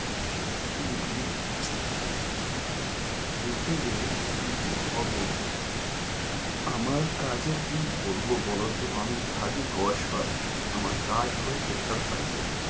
সত্যি মানে বলতে গিয়ে কি যে হবে আমার কাজের কি বলবো বলোতো আমি থাকি কসবায় আমার কাজ হয় sector five এ।